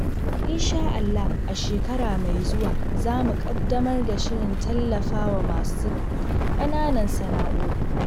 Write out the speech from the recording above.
Insha Allah, a shekara mai zuwa, za mu ƙaddamar da shirin tallafa wa masu kananan sana'o'i.